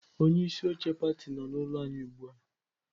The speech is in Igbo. Onye isi oche pati no n'ulo anyi ugbua.